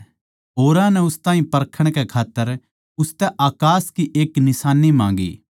औरां नै उस ताहीं परखण कै खात्तर उसतै अकास की एक निशान्नी माँगी